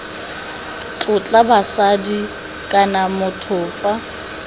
tlotla basadi kana motho fa